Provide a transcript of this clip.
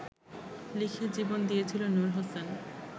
লিখে জীবন দিয়েছিল নূর হোসেন